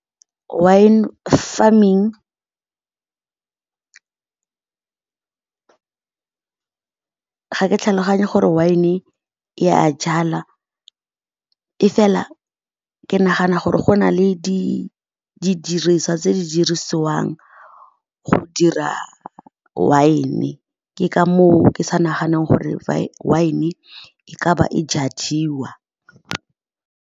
Wine farming ga ke tlhaloganya gore wine-e e a jalwa. E fela ke nagana gore go na le diriswa tse di dirisiwang go dira wine, ke ka mo o ke sa naganeng gore wine-e ka ba e jadiwa.